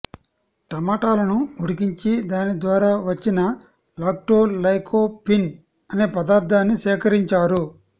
టమాటలను ఉడికించి దాని ద్వారా వచ్చిన లాక్టోలైకోపిన్ అనే పదార్థాన్ని సేకరించారు